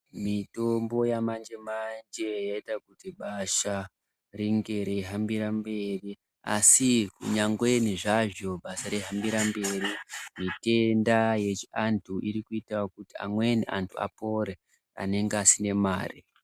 Mitombo yamanje manje yaita kuti basha ringe reihambira mberi asi nyangweni zvazvo basa reihambira mberi zvitenda yechiantu irikuita kuti amweni antu apore anenge asiye mare.